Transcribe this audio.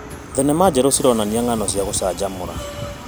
Thenema njerũ cironania ng'ano cia gũcanjamũra.